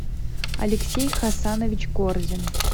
алексей хасанович корзин